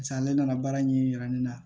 ale nana baara ɲɛ yira ne na